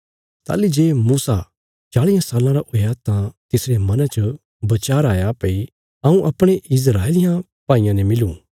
ताहली जे मूसा चालियां साल्लां रा हुआ तां तिसरे मना च बचार आया भई हऊँ अपणे इस्राएलियां भाईयां ने मिलूँ